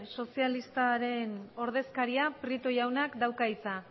sozialistaren ordezkariak prieto jaunak dauka hitza